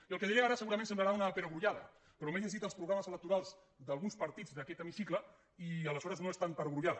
i el que diré ara segurament semblarà una perogrullada però m’he llegit els programes electorals d’alguns partits d’aquest d’aquest hemicicle i aleshores no és tan perogrullada